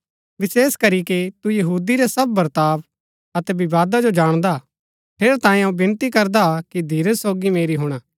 विशेष करीके कि तू यहूदी रै सब वर्ताव अतै विवादा जो जाणदा हा ठेरैतांये अऊँ विनती करदा कि धीरज सोगी मेरी हुणा